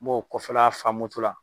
Mbɔ kɔfɛla fa moto la.